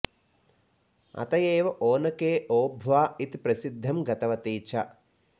अत एव ओनके ओबव्व इति प्रसिद्धिं गतवती च